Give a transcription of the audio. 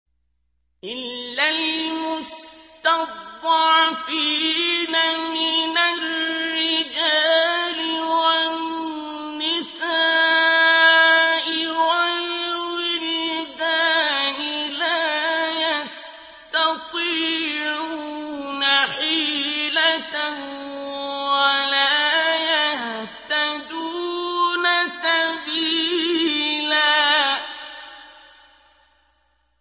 إِلَّا الْمُسْتَضْعَفِينَ مِنَ الرِّجَالِ وَالنِّسَاءِ وَالْوِلْدَانِ لَا يَسْتَطِيعُونَ حِيلَةً وَلَا يَهْتَدُونَ سَبِيلًا